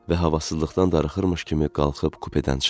Və havasızlıqdan darıxırmış kimi qalxıb kupedən çıxdı.